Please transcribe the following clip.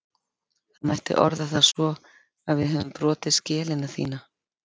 Það mætti orða það svo að við höfum brotið skelina þína.